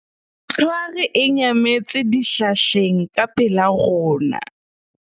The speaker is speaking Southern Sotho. tlhware e nyametse dihlahleng ka pela rona